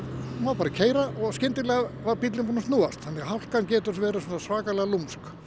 keyra og skyndilega hafi bíllinn verið búinn að snúast þannig að hálkan getur verið svona svakalega lúmsk